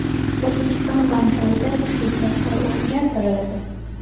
O‘zbekiston banklarida tushlik vaqti o‘zgartiriladi.